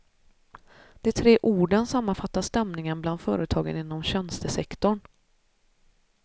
De tre orden sammanfattar stämningen bland företagen inom tjänstesektorn.